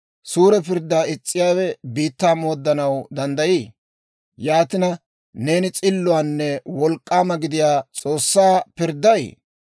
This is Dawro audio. Suure pirddaa is's'iyaawe biittaa mooddanaw danddayii? Yaatina, neeni s'illuwaanne wolk'k'aama gidiyaa S'oossaa pirdday?